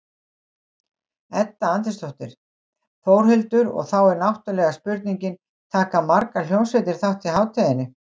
Edda Andrésdóttir: Þórhildur, og þá er náttúrulega spurningin, taka margar hljómsveitir þátt í hátíðinni?